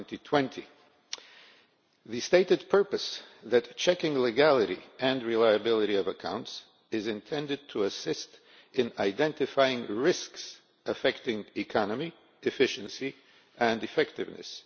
2020. The stated purpose is that checking the legality and reliability of accounts is intended to assist in identifying risks affecting economy, efficiency and effectiveness.